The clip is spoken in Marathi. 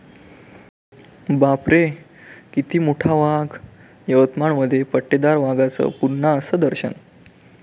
बापरे...किती मोठा वाघ! यवतमाळमध्ये पट्टेदार वाघाचं पुन्हा 'असं' दर्शन